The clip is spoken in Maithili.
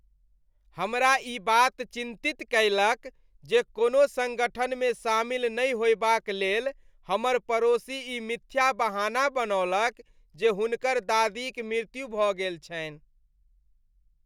हमरा ई बात चिंतित कएलक जे कोनो सङ्गठनमे शामिल नहि होयबाक लेल हमर पड़ोसी ई मिथ्या बहाना बनौलक जे हुनकर दादीक मृत्यु भऽ गेल छन्हि।